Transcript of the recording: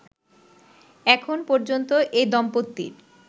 এখন পর্যন্ত এ দম্পতির